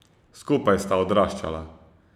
Skupaj sta odraščala.